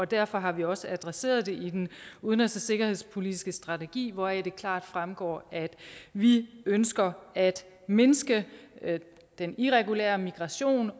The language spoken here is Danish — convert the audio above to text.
derfor har vi også adresseret det i den udenrigs og sikkerhedspolitiske strategi hvoraf det klart fremgår at vi ønsker at mindske den irregulære migration